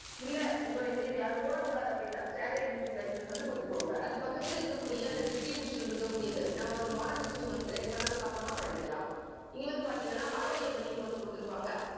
இல்ல உங்களுடைய video வை யாரும் போடக் கூடாது அப்படின்னா standard யூடியூப் license வந்து கொடுத்துக்கோங்க. அது பக்கத்துல இருக்கக்கூடிய அந்த distribution இருக்கக்கூடியது நம்ம வந்து monetisation வந்து select பண்ணதுக்கு அப்புறமா பண்ணிக்கலாம் இங்க வந்து பாத்தீங்கன்னா குடுத்திருப்பாங்க